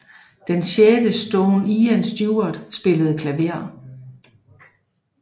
Den sjette Stone Ian Stewart spillede klaver